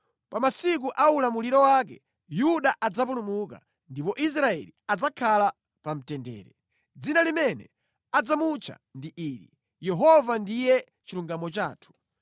Pa masiku a ulamuliro wake Yuda adzapulumuka ndipo Israeli adzakhala pamtendere. Dzina limene adzamutcha ndi ili: Yehova ndiye Chilungamo Chathu.